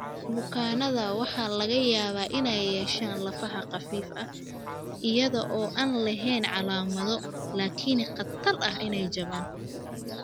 Bukaannada waxaa laga yaabaa inay yeeshaan lafaha khafiifka ah iyada oo aan lahayn calaamado, laakiin khatarta ah inay jabaan.